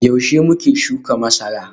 Yaushe muke shuka masara?